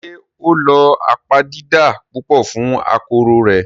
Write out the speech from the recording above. Ṣé ó lo apabidà pupa fún akokoro rẹ̀?